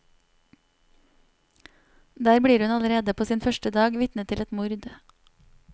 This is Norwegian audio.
Der blir hun allerede på sin første dag vitne til et mord.